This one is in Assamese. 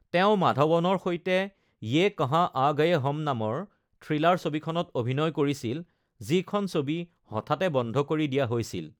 তেওঁ মাধৱনৰ সৈতে য়ে কহা আ গয়ে হম নামৰ থ্ৰিলাৰ ছবিখনত অভিনয় কৰিছিল, যিখন ছবি হঠাতে বন্ধ কৰি দিয়া হৈছিল।